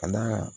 Ka d'a kan